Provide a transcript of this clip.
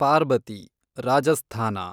Parbati, Rajasthan